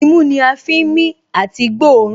Imú ni a fi ń mí àti gbóòórùn